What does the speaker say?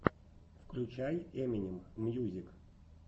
включай эминем мьюзик